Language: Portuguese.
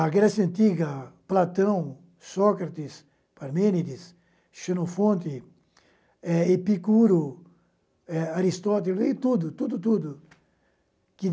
A Grécia Antiga, Platão, Sócrates, Parmênides, Xenofonte, é Epicuro, é Aristóteles, tudo, tudo, tudo que,